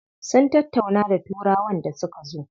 Sun tattauna da turawan da suka zo.